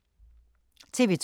TV 2